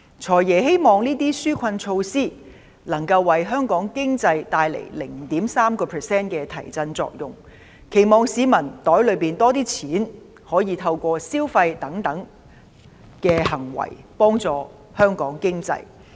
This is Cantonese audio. "財爺"希望這些紓困措施能夠為香港經濟帶來 0.3% 的提振作用，期望市民口袋裏有多一點錢，可以透過消費等行為幫助香港經濟。